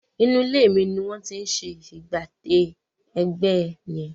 Inú ilé mi ni wọ́n ti ń ṣe ìpàdé ẹgbẹ́ yẹn.